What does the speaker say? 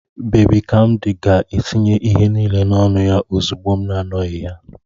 Babi kamdi ga-etinye ihe niile n'ọnụ ya ozugbo m na-anọghị ya